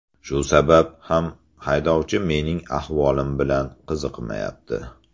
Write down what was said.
Shu sabab ham haydovchi mening ahvolim bilan qiziqmayapti.